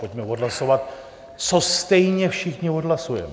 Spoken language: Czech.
Pojďme odhlasovat, co stejně všichni odhlasujeme.